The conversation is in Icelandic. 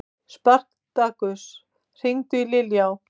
Spartakus, hringdu í Liljá.